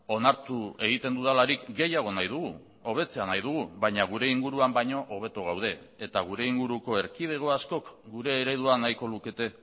onartu egiten dudalarik gehiago nahi dugu hobetzea nahi dugu baina gure inguruan baino hobeto gaude eta gure inguruko erkidego askok gure eredua nahiko lukete